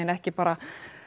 ekki bara